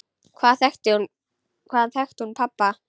Hvaðan þekkti hún pabba?